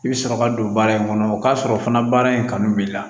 I bɛ sɔrɔ ka don baara in kɔnɔ o k'a sɔrɔ fana baara in kanu b'i la